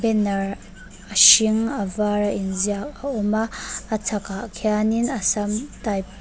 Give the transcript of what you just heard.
banner a hring avar a inziak a awm a a chhakah khianin assam type --